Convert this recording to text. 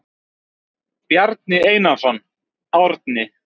Bjarni Einarsson, Árni.